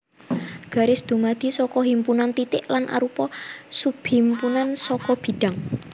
Garis dumadi saka himpunan titik lan arupa subhimpunan saka bidhang